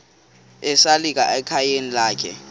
esalika ekhayeni lakhe